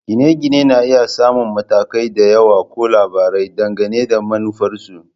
Gine-gine na iya samun matakai da yawa ko labarai, dangane da manufarsu